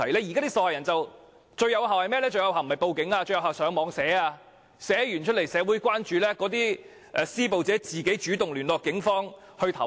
現時，受害人採用的方法不是報警，而是在網上貼文，喚起社會的關注，令施暴者主動聯絡警方投案。